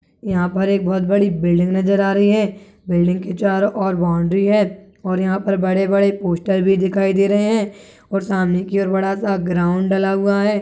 यहाँ पर एक बहुत बड़ी बिल्डिंग नज़र आ रही है बिल्डिंग के चारों ओर बाउन्ड्री है और यहाँ पर बड़े- बड़े पोस्टर भी दिखाई दे रहे है और सामने की ओर बड़ा सा ग्राउंड डला हुआ हैं।